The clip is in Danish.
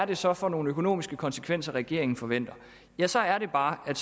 det så er for nogle økonomiske konsekvenser regeringen forventer ja så er det bare at